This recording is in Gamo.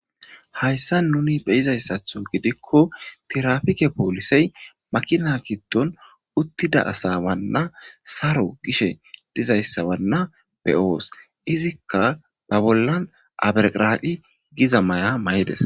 Hayssa nuni beyizayssatho gidikko tirafike poolisey makina gidon uttida asa wanna saro gishe dizayssabanna be7oos izikka ba bollan aberqiradi giza may7a may7ides.